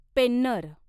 Penner